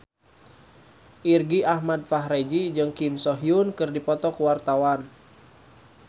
Irgi Ahmad Fahrezi jeung Kim So Hyun keur dipoto ku wartawan